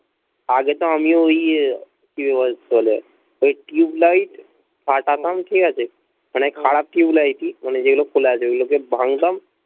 আগে তাও আমি ওই ওই টিউবলাইট ফাটাতাম ঠিক আছে মানে খারাপ টিউবলাইট মানে যেগুলো খোলা আছে ওগুলোকে ভাঙতাম